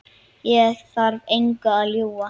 Ég þarf engu að ljúga.